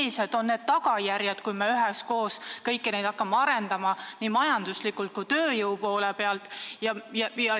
Millised on tagajärjed, kui me kõiki neid projekte hakkame korraga arendama, nii majanduslikus mõttes kui tööjõu poole pealt vaadates?